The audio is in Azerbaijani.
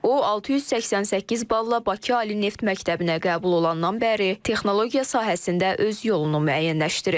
O 688 balla Bakı Ali Neft Məktəbinə qəbul olandan bəri texnologiya sahəsində öz yolunu müəyyənləşdirib.